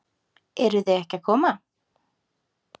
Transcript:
Eruð þið ekki að koma?